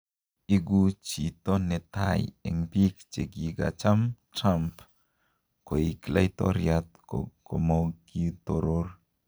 Igu chito netai en biik chegigacham Trump koig laitoriat komogi toror.